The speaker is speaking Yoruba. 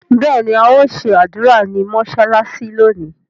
béèni ao ṣe ádùrá ní mọsalasi lónì.